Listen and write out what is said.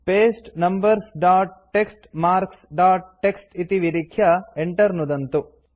paste numbers dot TXT marks dot TXT इति विलिख्य enter नुदन्तु